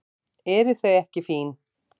Eru þau ekki fín?